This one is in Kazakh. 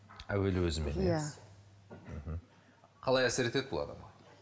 әуелі өзімен иә мхм қалай әсер етеді бұл адамға